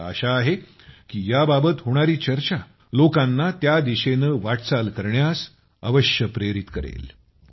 मला आशा आहे की याबाबत होणारी चर्चा लोकांना त्या दिशेनं वाटचाल करण्यास अवश्य प्रेरित करेल